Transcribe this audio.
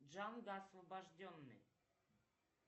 джанго освобожденный